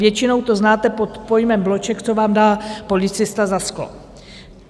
Většinou to znáte pod pojmem bloček, co vám dá policista za sklo.